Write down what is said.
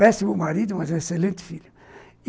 Péssimo marido, mas um excelente filho.